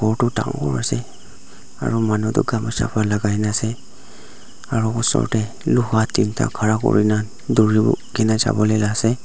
ghor toh dangor ase aru manu toh ghamsa para lagai na ase aru osor tae luha tinta khara kurina dhurukena javo lae ase.